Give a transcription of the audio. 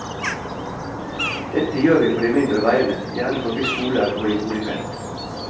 Dette gjør vi på de mindre veiene, gjerne forbi skoler og i boligfelt.